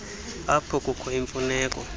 apho kukho imfuneko